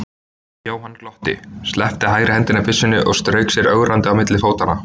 Jóhann glotti, sleppti hægri hendinni af byssunni og strauk sér ögrandi á milli fótanna.